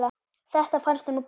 Þetta fannst honum gott.